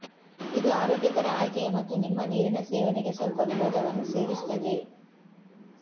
ಇದು ಆರೋಗ್ಯಕರ ಆಯ್ಕೆಯ ಮತ್ತು ನಿಮ್ಮ ನೀರಿನ ಸೇವನೆಗೆ ಸ್ವಲ್ಪ ವಿನೋದವನ್ನು ಸೇರಿಸುತ್ತದೆ